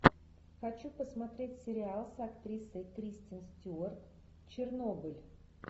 хочу посмотреть сериал с актрисой кристен стюарт чернобыль